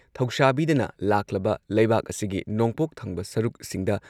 ꯊꯧꯁꯥꯕꯤꯗꯅ ꯂꯥꯛꯂꯕ ꯂꯩꯕꯥꯛ ꯑꯁꯤꯒꯤ ꯅꯣꯡꯄꯣꯛ ꯊꯪꯕ ꯁꯔꯨꯛꯁꯤꯡꯗ